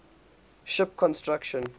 ship construction